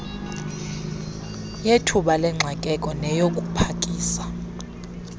yethuba lengxakeko neyokupakisa